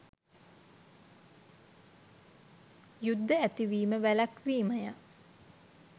යුද්ධ ඇතිවිම වැළැක්වීමය